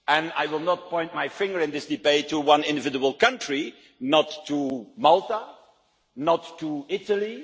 I will not point my finger in this debate at one individual country, not at Malta, not at Italy.